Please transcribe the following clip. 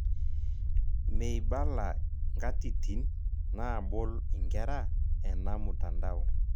Meibala nkatitin naabol inkera ena mtandao.